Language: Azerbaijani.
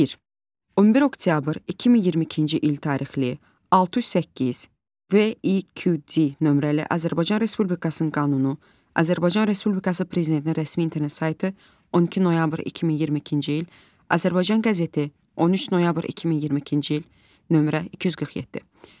Bir. 11 oktyabr 2022-ci il tarixli, 608, VİQD nömrəli Azərbaycan Respublikasının qanunu, Azərbaycan Respublikası Prezidentinin rəsmi internet saytı, 12 noyabr 2022-ci il, Azərbaycan qəzeti, 13 noyabr 2022-ci il, nömrə 247.